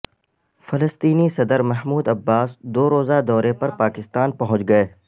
فلسطینی صدر Mahmoud Abbas دو روزہ دورے پر پاکستان پہنچ گئے